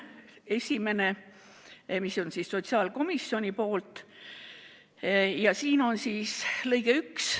Esimene, mis on sotsiaalkomisjoni sõnastatud ja muudetava paragrahvi lõige 1.